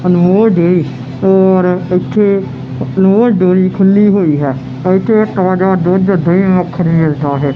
ਔਰ ਇੱਥੇ ਡੇਰੀ ਖੁੱਲੀ ਹੋਈ ਹੈ ਇਥੇ ਤਾਜਾ ਦੁੱਧ ਦਹੀ ਮੱਖਣ ਮਿਲਦਾ ਹੈ।